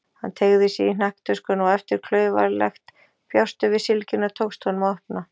Hann teygði sig í hnakktöskuna og eftir klaufalegt bjástur við sylgjuna tókst honum að opna.